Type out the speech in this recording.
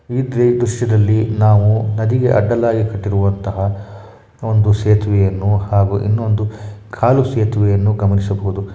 ಈ ದೃಶ್ಯದಲ್ಲಿ ನಾವು ನದಿಗೆ ಅಡ್ಡಲಾಗಿ ಕಟ್ಟಿರುವಂತಹ ಒಂದು ಸೇತುವೆಯನ್ನು ಹಾಗೂ ಇನ್ನೊಂದು ಕಾಲು ಸೇತುವೆಯನ್ನು ಗಮನಿಸಬಹುದು.